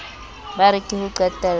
ba re ke ho qetello